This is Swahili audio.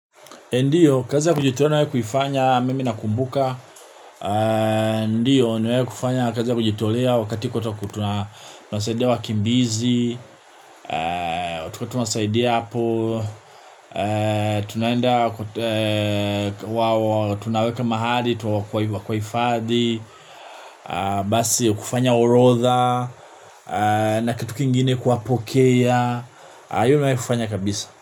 Ndiyo, kazi ya kujitolea na kuifanya, mimi nakumbuka. Ndiyo, nimewai kufanya kazi ya kujitolea wakati kwetu tunasaidia wakimbizi. Tukuatunasaidia hapo. Tunaweka mahali, tu wa kuwakuwaifadhi. Basi, kufanya orodha nakitu kingine kuwa pokea. Iyo nayo kufanya kabisa.